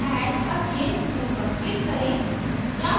add a chain tool पर click करें